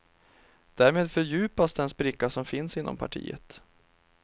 Därmed fördjupas den spricka som finns inom partiet.